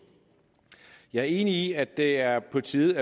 jeg er enig i at det er på tide